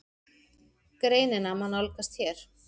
Greinina má nálgast hér